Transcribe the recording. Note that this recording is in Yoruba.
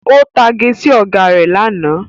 Ó ń tage sí Ọ̀gá rẹ̀ lánàá